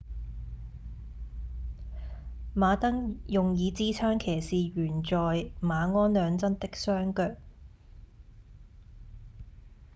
馬鐙用以支撐騎士懸在馬鞍兩側的雙腳